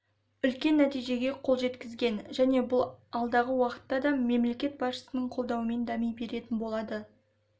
үлкен нәтижеге қол жеткізген және бұл алдағы уақытта да мемлекет басшысының қолдауымен дами беретін болады